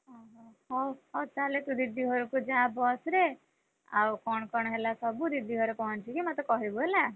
ଓହୋ ହଉ ହଉ ତାହେଲେ ତୁ ଦିଦି ଘରକୁ ଯା ବସ ରେ ଆଉ କଣ ହେଲା ସବୁ ଦିଦି ଘରେ କଣ ଟିକେ ମତେ କହିବୁ ହେଲା।